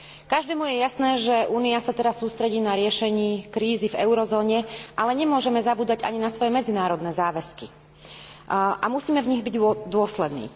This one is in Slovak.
Každému je jasné, že Únia sa teraz sústredí na riešenie krízy v eurozóne, ale nemôžeme zabúdať ani na svoje medzinárodné záväzky a musíme byť v nich dôslední.